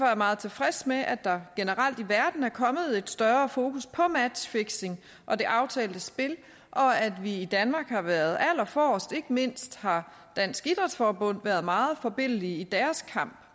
jeg meget tilfreds med at der generelt i verden er kommet et større fokus på matchfixing og det aftalte spil og at vi i danmark har været allerforrest ikke mindst har dansk idrætsforbund været meget forbilledlige i deres kamp